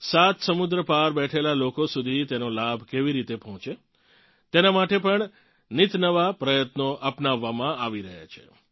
સાત સમુદ્ર પાર બેઠેલાં લોકો સુધી તેનો લાભ કેવી રીતે પહોંચે તેનાં માટે પણ નિતનવા પ્રયત્નો અપનાવવામાં આવી રહ્યાં છે